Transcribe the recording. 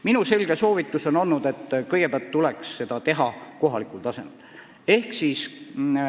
Minu selge soovitus on olnud, et kõigepealt tuleks seda teha kohalikul tasemel.